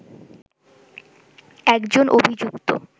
একজন অভিযুক্ত